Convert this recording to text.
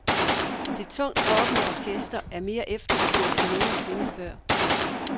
Det tungt rockende orkester er mere efterspurgt end nogen sinde før.